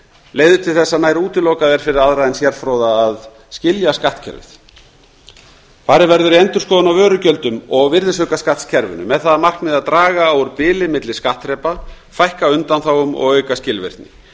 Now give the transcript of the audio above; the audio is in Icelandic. leiðir til þess að nær útilokað er fyrir aðra en sérfróða að skilja skattkerfið farið verður í endurskoðun á vörugjöldum og virðisaukaskattskerfinu með það að markmiði að draga úr bili milli skattþrepa fækka undanþágum og auka skilvirkni